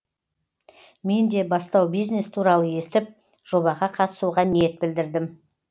мен де бастау бизнес туралы естіп жобаға қатысуға ниет білдірдім